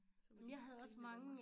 Så må de grine lidt af mig